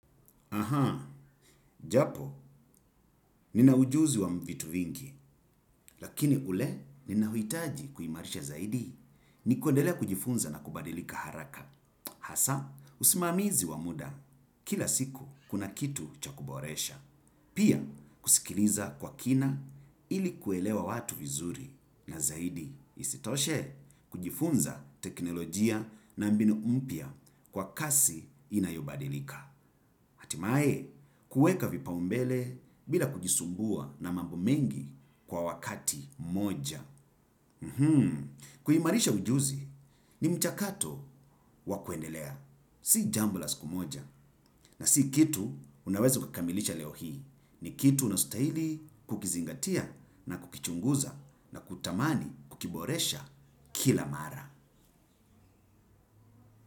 Aha, japo, nina ujuzi wa vitu vingi, lakini ule ninaohitaji kuimarisha zaidi. Ni kuendelea kujifunza na kubadilika haraka. Hasa, usimamizi wa muda, kila siku kuna kitu cha kuboresha. Pia, kusikiliza kwa kina ili kuelewa watu vizuri na zaidi. Isitoshe kujifunza teknolojia na mbinu mpya kwa kasi inayobadilika. Hatimaye kueka vipaombele bila kujisumbua na mambo mengi kwa wakati mmoja. Kuimarisha ujuzi ni mchakato wa kuendelea. Si jambo la siku moja na si kitu unaweza ukakamilisha leo hii. Ni kitu unastahili kukizingatia na kukichunguza na kutamani kukiboresha kila mara.